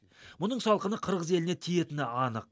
мұның салқыны қырғыз еліне тиетіні анық